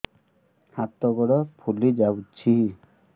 ହାତ ଗୋଡ଼ ଫୁଲି ଯାଉଛି